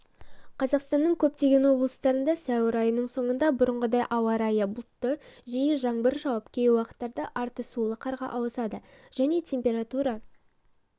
қазақстанның көптеген облыстарында сәуір айының соңында бұрынғыдай ауа райы бұлтты жиі жаңбыр жауып кей уақыттарда арты сулы қарға ауысады және температура